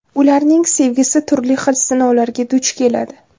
Ularning sevgisi turli xil sinovlarga duch keladi.